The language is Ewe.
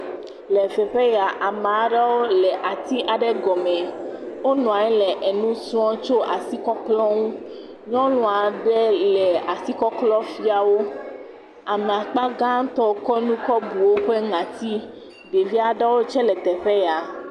Le teƒe ya ame aɖewo tse le ati aɖe gɔme. Wonɔa nyi le enu srɔ̃ tso asikɔklɔ ŋu. Nyuɔnu aɖe le asikɔklɔ fia wo. Ame akpagãtɔ kɔ nu kɔ bu woƒe ŋati. Ɖevi aɖewo tse le teƒe ya.